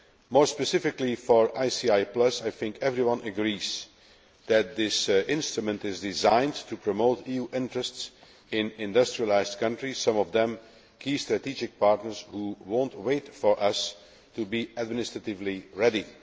More specifically for ICI Plus, I think that everyone agrees that this instrument is designed to promote EU interests in industrialised countries, some of them key strategic partners who will not wait for us to be administratively ready.